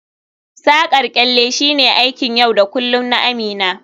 Saƙar kyalle shine aikin yau da kullun na Amina